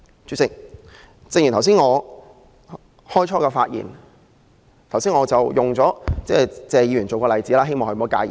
主席，我開始發言時以謝議員作為例子，希望他不要介意。